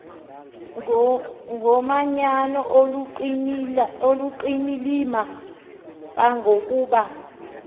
ngomanyano oluqilima kangangokuba